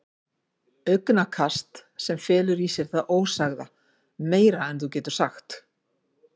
Augnakast sem felur í sér það ósagða: Meira en þú getur sagt.